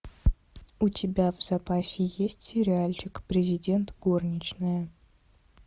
у тебя в запасе есть сериальчик президент горничная